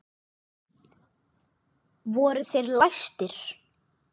Voru þeir læstir.